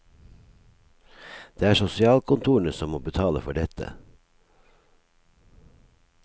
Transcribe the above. Det er sosialkontorene som må betale for dette.